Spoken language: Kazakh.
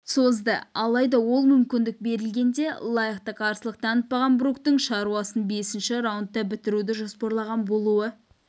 созды алайда ол мүмкіндік берілгенде лайықты қарсылық танытпаған бруктың шаруасын бесінші раундта бітіруді жоспарлаған болуы